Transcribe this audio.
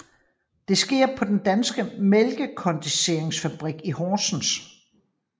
Det sker på Den danske Mælkekondenseringsfabrik i Horsens